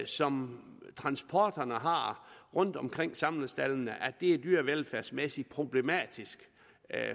som transporterne har rundtomkring samlestaldene er dyrevelfærdsmæssig problematisk